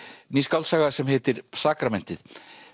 ný skáldsaga sem heitir sakramentið